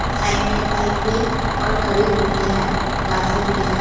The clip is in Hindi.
साइड में एक बाइक भी और खड़ी हुई है और घासें भी है।